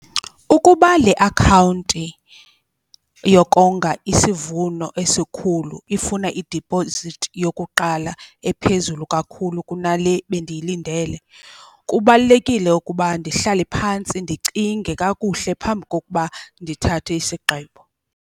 Ukuba le akhawunti yokonga isivuno esikhulu ifuna idipozithi yokuqala ephezulu kakhulu kunale bendiyilindele, kubalulekile ukuba ndihlale phantsi ndicinge kakuhle phambi kokuba ndithathe isigqibo.